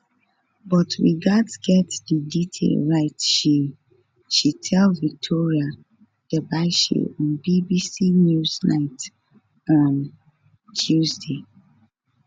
but we gatz get di detail right she she tell victoria derbyshire on bbc newsnight on tuesday